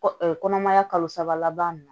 Kɔ kɔnɔmaya kalo saba laban na